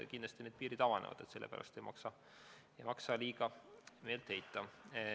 Kindlasti need piirid avanevad, selle pärast ei maksa meelt heita.